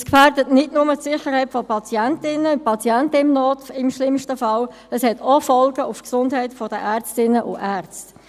Dies gefährdet im schlimmsten Fall nicht nur die Sicherheit der Patientinnen und Patienten, sondern es hat auch Folgen für die Gesundheit der Ärztinnen und Ärzte.